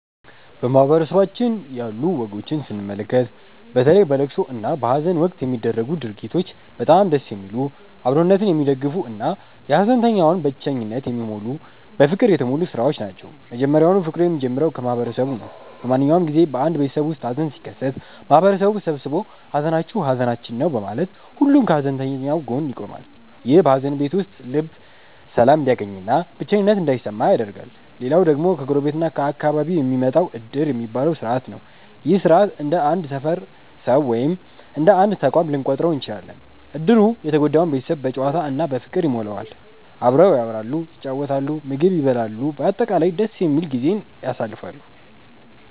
በማህበረሰባችን ያሉ ወጎችን ስንመለከት፣ በተለይ በለቅሶ እና በሃዘን ወቅት የሚደረጉት ድርጊቶች በጣም ደስ የሚሉ፣ አብሮነትን የሚደግፉ እና የሃዘንተኛውን ብቸኝነት የሚሞሉ በፍቅር የተሞሉ ሥራዎች ናቸው። መጀመሪያውኑ ፍቅሩ የሚጀምረው ከማህበረሰቡ ነው። በማንኛውም ጊዜ በአንድ ቤተሰብ ውስጥ ሃዘን ሲከሰት፣ ማህበረሰቡ ተሰብስቦ 'ሃዘናችሁ ሃዘናችን ነው' በማለት ሁሉም ከሃዘንተኛው ጎን ይቆማል። ይህም በሃዘን ቤት ውስጥ ልብ ሰላም እንዲያገኝና ብቸኝነት እንዳይሰማ ያደርጋል። ሌላው ደግሞ ከጎረቤት እና ከአካባቢው የሚመጣው 'ዕድር' የሚባለው ሥርዓት ነው። ይህ ሥርዓት እንደ አንድ ሰፈር ሰው ወይም እንደ አንድ ተቋም ልንቆጥረው እንችላለን። ዕድሩ የተጎዳውን ቤተሰብ በጨዋታ እና በፍቅር ይሞላዋል። አብረው ያወራሉ፣ ይጫወታሉ፣ ምግብ ይበላሉ፤ በአጠቃላይ ደስ የሚል ጊዜን ያሳልፋሉ።